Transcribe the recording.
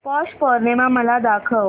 पौष पौर्णिमा मला दाखव